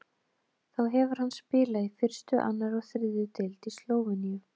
Þá hefur hann spilað í fyrstu, annarri og þriðju deild í Slóveníu.